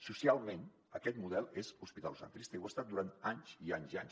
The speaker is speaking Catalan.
socialment aquest model és hospitalocentrista i ho ha estat durant anys i anys i anys